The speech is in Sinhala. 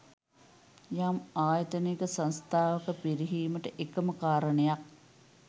යම් ආයතනයක සංස්ථාවක පිරිහීමට එකම කාරණයක්